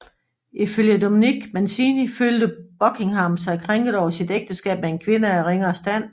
Ifølge Dominic Mancini følte Buckingham sig krænket over sit ægteskab med en kvinde af ringere stand